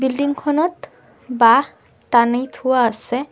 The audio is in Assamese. বিল্ডিং খনত বাঁহ টানি থোৱা আছে।